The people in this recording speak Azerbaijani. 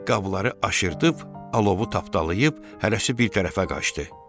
Qabları aşırdıb, alovu tapdalayıb hərəsi bir tərəfə qaçdı.